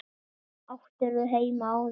Hvar áttirðu heima áður?